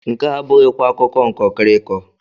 Nke a abụghịkwa akụkọ nkọkịrịkọ!